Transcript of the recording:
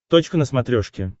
точка на смотрешке